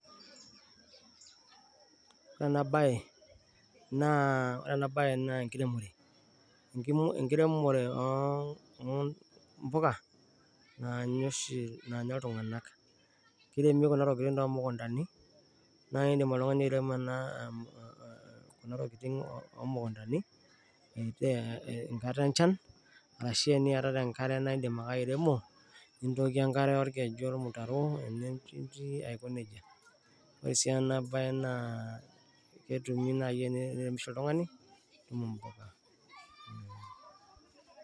Ore ena bae, ore ena bae naa enkiremore, enkiremore oo mpuka naanya oshi naanya iltung`anak. Kiremi kuna tokitin too mukuntani naa idim oltung`ani airemo kuna tokitin oo mukuntani tenkata enchan arashu teniatata enkare idim ake airemo. Nintookie enkare olkeju, olmutaro ene njuti aiko nejia. Ore sii ena bae itum naaji teniremisho oltung`ani itum mpuka.